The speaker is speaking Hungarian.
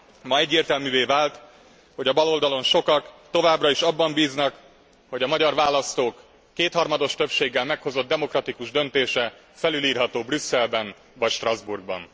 Ma egyértelművé vált, hogy a baloldalon sokak továbbra is abban bíznak, hogy a magyar választók kétharmados többséggel meghozott demokratikus döntése felülírható Brüsszelben vagy Strasbourgban.